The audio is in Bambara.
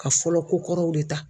Ka fɔlɔ kokɔrɔw de ta.